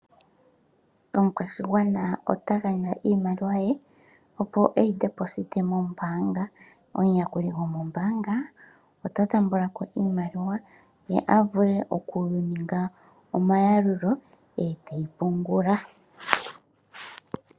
Omukwashigwana otagandja iimaliwa ye opo eyi pungule mombaanga, omuyakuli gomombaanga ota taambako iimaliwa ye avule okuninga omayalulo eteyi pungula.